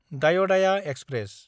दायदाया express